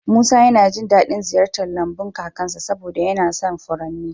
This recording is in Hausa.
Musa yana jin daɗin ziyartar lambun kakansa saboda yana son furanni.